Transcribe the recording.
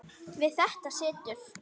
Við þetta situr.